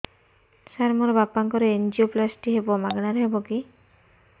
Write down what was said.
ସାର ମୋର ବାପାଙ୍କର ଏନଜିଓପ୍ଳାସଟି ହେବ ମାଗଣା ରେ ହେବ କି